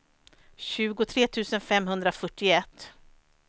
tjugotre tusen femhundrafyrtioett